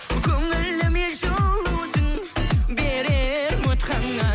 көңіліме жылусың берер үміт ғана